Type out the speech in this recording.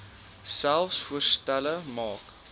selfs voorstelle maak